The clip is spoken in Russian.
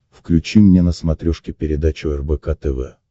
включи мне на смотрешке передачу рбк тв